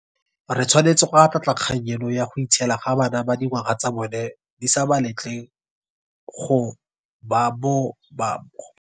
Re tshwanetse go atlhaatlha kgang eno ya go itshiela ga bana ba dingwaga tsa bona di sa ba letleng go bo.